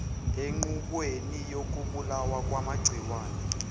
enqubweni yokubulawa kwamagciwane